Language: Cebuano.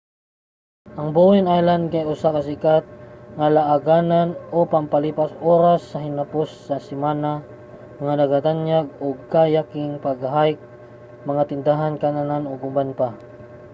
ang bowen island kay usa ka sikat nga laaganan o pampalipas oras sa hinapos sa semana nga nagagtanyag og kayaking pag-hike mga tindahan kan-anan ug uban pa